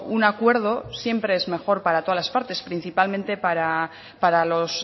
un acuerdo siempre es mejor para todas las partes principalmente para los